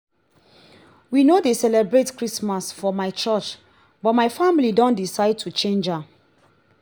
we no dey celebrate christmas for my curch but my family don decide to change am